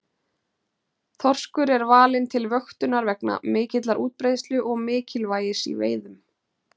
Þorskur er valinn til vöktunar vegna mikillar útbreiðslu og mikilvægis í veiðum.